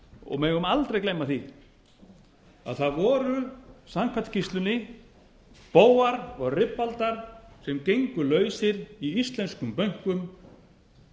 og megum aldrei gleyma því að það voru samkvæmt skýrslunni bófar og ribbaldar sem gengu lausir í íslenskum bönkum